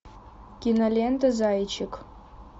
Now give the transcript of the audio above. кинолента зайчик